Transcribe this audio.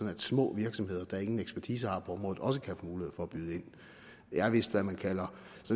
at små virksomheder der ingen ekspertise har på området også kan få mulighed for at byde ind det er vist hvad man kalder